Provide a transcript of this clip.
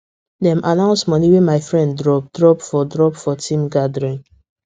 dem announce money wey my friend drop drop for drop for team gathering